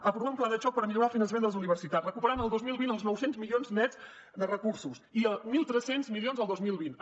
aprovar un pla de xoc per millorar el finançament de les universitats recuperant el dos mil vint els nou cents milions nets de recursos i mil tres cents milions el dos mil vint dos